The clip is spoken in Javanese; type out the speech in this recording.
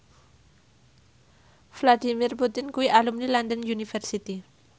Vladimir Putin kuwi alumni London University